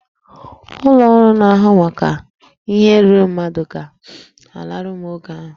Ụlọ ọrụ na-ahụ maka ihe ruuru mmadụ ga-alụrụ m ọgụ ahụ